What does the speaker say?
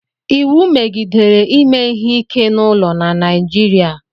iwu megidere ime ihe ike n'ụlọ na Naịjirịa